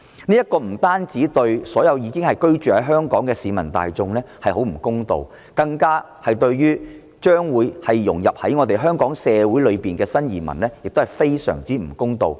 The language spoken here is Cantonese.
這不單對所有居住在香港的市民大眾不公道，更加對將會融入香港社會的新移民非常不公道。